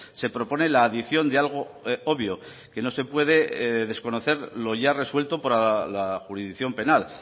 se propone la adición de algo obvio que no se puede desconocer lo ya resuelto por la jurisdicción penal